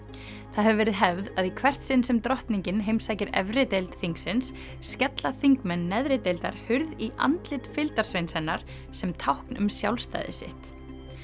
það hefur verið hefð að í hvert sinn sem drottningin heimsækir efri deild þingsins skella þingmenn neðri deildar hurð í andlit fylgdarsveins hennar sem tákn um sjálfstæði sitt